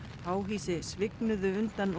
háhýsi svignuðu undan